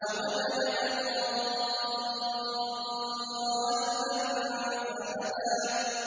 وَوَجَدَكَ ضَالًّا فَهَدَىٰ